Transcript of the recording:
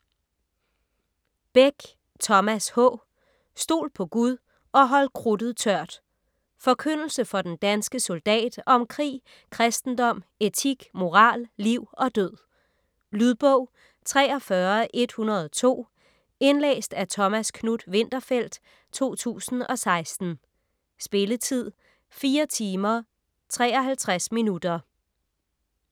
Beck, Thomas H.: Stol på Gud - og hold krudtet tørt Forkyndelse for den danske soldat om krig, kristendom, etik, moral, liv og død. Lydbog 43102 Indlæst af Thomas Knuth-Winterfeldt, 2016. Spilletid: 4 timer, 53 minutter.